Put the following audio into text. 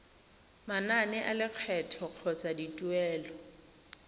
manane a lekgetho kgotsa dituelo